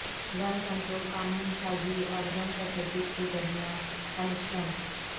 گن control قانون سازی اور گن تشدد کے درمیان کنکشن